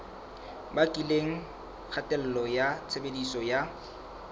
bakileng kgatello ya tshebediso ya